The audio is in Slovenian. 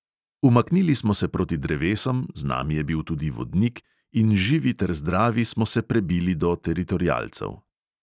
Umaknili smo se proti drevesom, z nami je bil tudi vodnik, in živi ter zdravi smo se prebili do teritorialcev.